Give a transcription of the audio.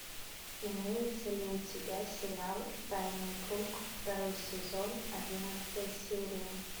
имеется ли у тебя сериал тайный круг второй сезон одиннадцатая серия